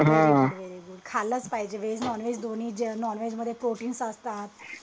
very good very good खालच पाहिजे veg non veg दोन्ही नॉनव्हेज मध्ये प्रोटीन्स असतात